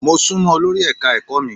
Mo sún mọ́ olori ẹ̀ka-ẹ̀kọ́ mi.